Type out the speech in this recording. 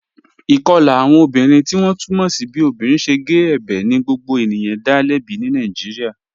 Ikọla awọn obìnrin tí wọn tú mọ́ sí bí obìnrin ṣẹ̀ gé ẹ̀bẹ̀ ni gbogbo ènìyàn dá lẹ̀bí ní Nàìjíríà.